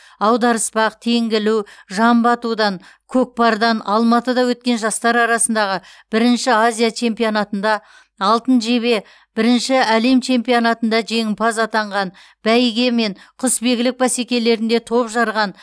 аударыспақ теңге ілу жамбы атудан көкпардан алматыда өткен жастар арасындағы бірінші азия чемпионатында алтын жебе бірінші әлем чемпионатында жеңімпаз атанған бәйге мен құсбегілік бәсекелерінде топ жарған